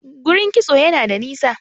gurin kitso Yana da nisa